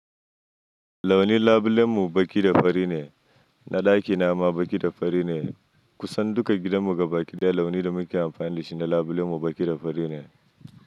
Launi labulen mu baƙi da fari ne, na ɗaki nama baƙi da fari ne. Kusan duka gidan mu ga baƙi daya launi da muke amfani da shi na labulen mu baƙi da fari ne.